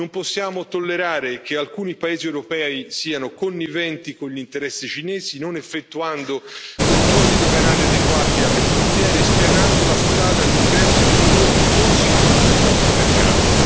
Non possiamo tollerare che alcuni paesi europei siano conniventi con gli interessi cinesi non effettuando controlli doganali adeguati alle frontiere, spianando la strada all'ingresso di prodotti non sicuri nel nostro mercato.